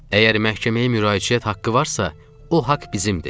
Əgər məhkəməyə müraciət haqqı varsa, o haqq bizimdir.